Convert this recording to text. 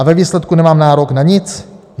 A ve výsledku nemám nárok na nic?